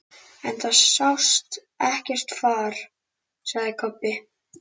En það sást ekkert far, sagði Kobbi.